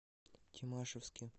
тимашевске